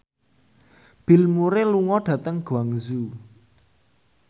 Bill Murray lunga dhateng Guangzhou